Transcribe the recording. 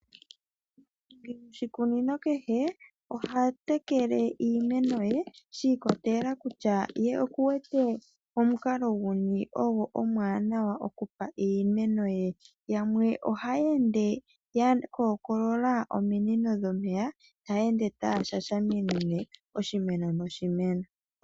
Omunashikunino kehe oha tekele iimeno ye shiikolelela kutya ye okuwete omukalo guni ogo omwaanawa okupa iimeno ye. Yamwe ohaya ende yakoolola ominino dhomeya, taya ende taya shashamine oshimeno noshimeno.